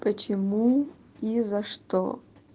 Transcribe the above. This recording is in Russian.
почему и за что